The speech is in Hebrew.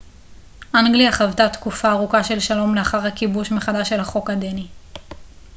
אנגליה חוותה תקופה ארוכה של שלום לאחר הכיבוש מחדש של החוק הדני